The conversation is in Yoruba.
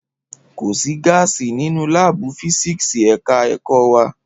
Kò sí gáàsì nínú láàbù físíkíìsì ẹ̀ka ẹ̀kọ́ wa